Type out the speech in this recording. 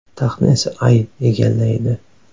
Taxtni esa Ay egallaydi.